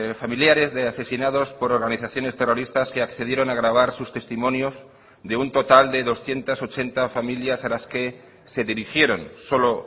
familiares de asesinados por organizaciones terroristas que accedieron a grabar sus testimonios de un total de doscientos ochenta familias a las que se dirigieron solo